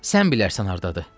Sən bilərsən hardadır.